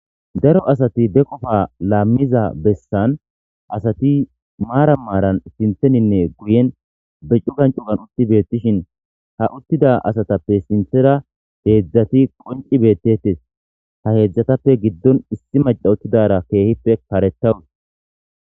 daro asati be qofa laammiza bessan asati maara maaran sintheninne guyen be cugan cugan utti beettishin ha uttida asatappe sinthera heedzdzati qonci beettetes ha heedzdzatappe giddon issi maca uttidara keehippe karettawus